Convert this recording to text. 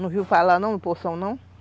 Não viu falar não do Poção não?